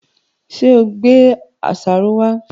Ṣé ò gbé àṣàrò wá?